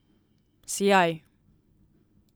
Sijaj.